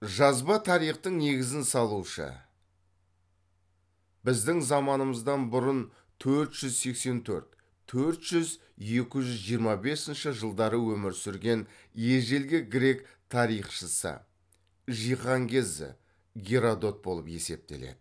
жазба тарихтың негізін салушы біздің заманымыздан бұрын төрт жүз сексен төрт төрт жүз жиырма бесінші жылдары өмір сүрген ежелгі грек тарихшысы жиһанкезі геродот болып есептеледі